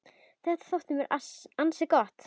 Þetta þótti mér ansi gott.